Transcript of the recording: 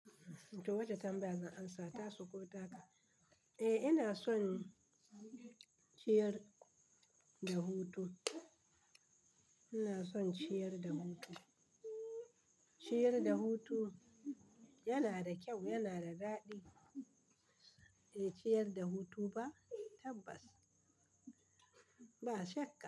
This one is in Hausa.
To wata tambaya zan amsa, tasu ko taka? Eh ina son ciyar da hutu, ina son ciyar da hutu. Ciyar da hutu yana da kyau, yana da daɗi. Eh ciyar da hutu ba tabbas, ba shakka.